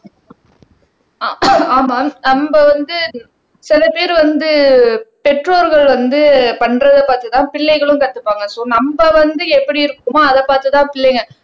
ஆமாம் நம்ம வந்து சில பேர் வந்து பெற்றோர்கள் வந்து பண்றதைப் பார்த்து தான் பிள்ளைகளும் கத்துப்பாங்க சோ நம்ம வந்து எப்படி இருக்குமோ அதைப் பார்த்துதான் பிள்ளைங்க